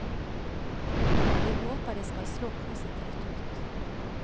Vi håper det skal slå positivt ut.